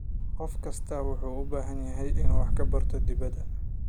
Qof kastaa wuxuu u baahday inuu wax ka barto dhibaatada.